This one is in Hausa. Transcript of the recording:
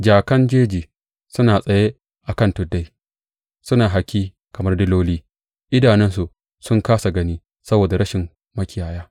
Jakan jeji suna tsaye a kan tuddai suna haki kamar diloli; idanunsu sun kāsa gani saboda rashin makiyaya.